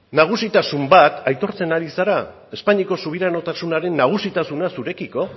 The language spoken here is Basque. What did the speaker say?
nagusitasun bat aitortzen ari zara espainiako subiranotasunaren nagusitasuna zurekiko